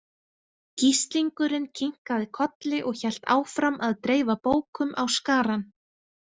Gíslingurinn kinkaði kolli og hélt áfram að dreifa bókum á skarann.